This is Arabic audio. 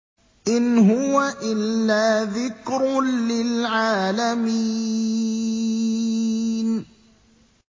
إِنْ هُوَ إِلَّا ذِكْرٌ لِّلْعَالَمِينَ